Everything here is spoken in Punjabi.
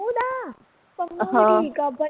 ਹਾ